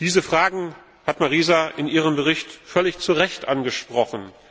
Diese Fragen hat Marisa in ihrem Bericht völlig zu Recht angesprochen.